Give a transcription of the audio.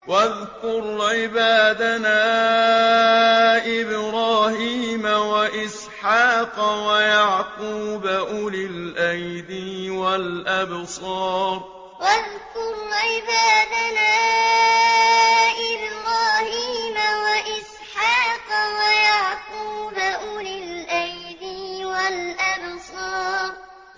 وَاذْكُرْ عِبَادَنَا إِبْرَاهِيمَ وَإِسْحَاقَ وَيَعْقُوبَ أُولِي الْأَيْدِي وَالْأَبْصَارِ وَاذْكُرْ عِبَادَنَا إِبْرَاهِيمَ وَإِسْحَاقَ وَيَعْقُوبَ أُولِي الْأَيْدِي وَالْأَبْصَارِ